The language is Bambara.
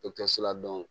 Dɔkitɛriso la